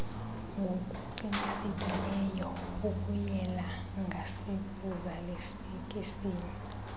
ngokuqinileyo ukuyela ngasekuzalisekiseni